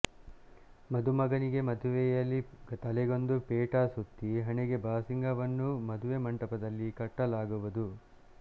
ಮದುಮಗನಿಗೆ ಮದುವೆಯಲ್ಲಿ ತಲೆಗೊಂದು ಪೇಟ ಸುತ್ತಿ ಹಣೆಗೆ ಬಾಸಿಂಗ ವನ್ನು ಮದುವೆ ಮಂಟಪದಲ್ಲಿ ಕಟ್ಟಲಾಗುವದು